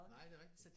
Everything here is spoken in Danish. Nej det er rigtigt